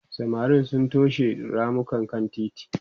samarin sun toshe ramukan kan titi